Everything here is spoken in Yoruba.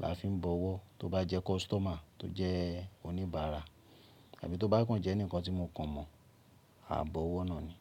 la fi ń bọ ọwọ́. Tó bá jẹ́ customer tó jẹ́ oníbàárà tàbí tó bá kàn jẹ́ ẹnìkan tí mo kàn mọ̀, a bọ ọwọ́ náà ni.